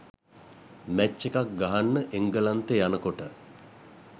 match එකක් ගහන්න එංගලන්තේ යනකොට